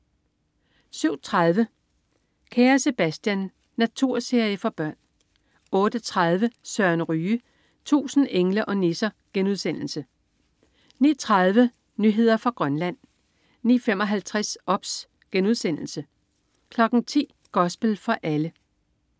07.30 Kære Sebastian. Naturserie for børn 08.30 Søren Ryge. 1000 engle og nisser* 09.30 Nyheder fra Grønland 09.55 OBS* 10.00 Gospel for alle